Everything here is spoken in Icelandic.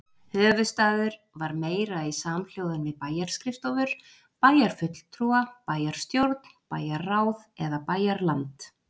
Höfuðstaður var meira í samhljóðan við bæjarskrifstofur, bæjarfulltrúa, bæjarstjórn, bæjarráð og bæjarland.